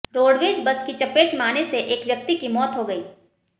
roadways bus की चपेट में आने से एक व्यक्ति की मौत हो गई